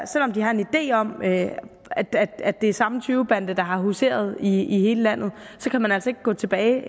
selv om de har en idé om at at det er samme tyvebande der har huseret i hele landet altså ikke gå tilbage